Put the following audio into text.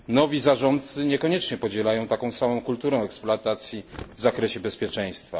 nowi zarządcy niekoniecznie podzielają taką samą kulturę eksploatacji w zakresie bezpieczeństwa.